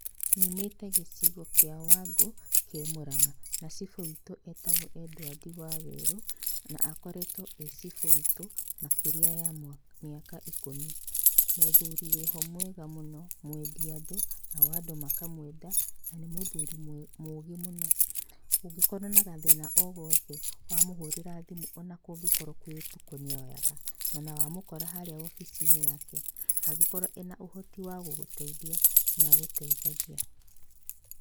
Nyumĩte gĩcigo kĩa Wangũ, kĩ Mũrang'a. Na cibũ witũ etagwo Edwadi Wawerũ, na akoretwo e cibũ witũ makĩria ya mĩaka ikũmi. Mũthuri wĩho mwega mũno, mwendi andũ nao andũ makamwenda, na nĩ mũthuri mũũgĩ mũno. Ũngĩkorwo na gathĩna o gothe, wamuhũrĩra thimũ ona kũngĩkorwo kwĩ ũtukũ nĩ oyaga. Ona wamũkora harĩa obici-inĩ yake, angĩkorwo ena ũhoti wa gũgũteithia, nĩagũteithagia.